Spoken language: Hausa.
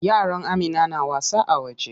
Yaran Amina na wasa a waje.